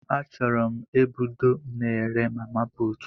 Achuru 'm ebudo na ere mama putu